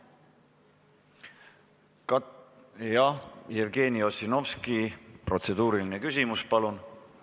Jevgeni Ossinovski, protseduuriline küsimus, palun!